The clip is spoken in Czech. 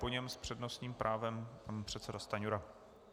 Po něm s přednostním právem pan předseda Stanjura.